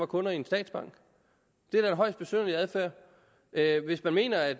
kunder i en statsbank det er da en højst besynderlig adfærd hvis man mener at